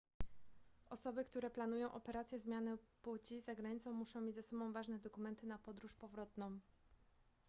osoby które planują operację zmiany płci za granicą muszą mieć ze sobą ważne dokumenty na podróż powrotną